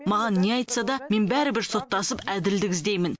маған не айтса да мен бәрібір соттасып әділдік іздеймін